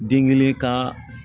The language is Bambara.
Den kelen ka